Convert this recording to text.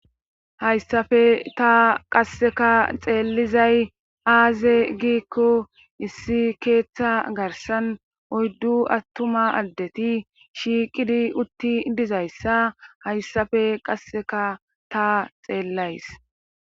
hayssafe ta qasseka xeellizay aaze giikko issi keeththa garsan oyddu attuma addeti shiiqidi utti dizayssa hayssafe qasseka ta xeellays